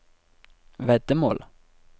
veddemål